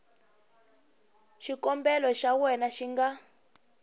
xikombelo xa wena xi nga